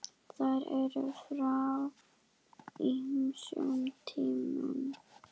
Þær eru frá ýmsum tímum.